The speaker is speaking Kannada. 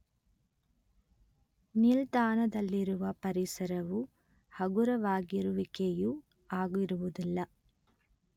ನಿಲ್ದಾಣದಲ್ಲಿರುವ ಪರಿಸರವು ಹಗುರವಾಗಿರುವಿಕೆಯೂ ಆಗಿರುವುದಿಲ್ಲ